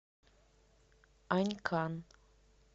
анькан